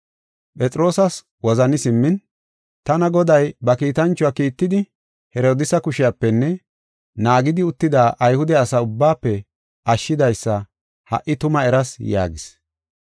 Phexroosas wozani simmin, “Tana Goday ba kiitanchuwa kiittidi, Herodiisa kushepenne naagidi uttida Ayhude asa ubbaafe ashshidaysa ha77i tuma eras” yaagis.